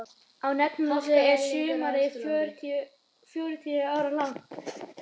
Á Neptúnusi er sumarið fjörutíu ára langt.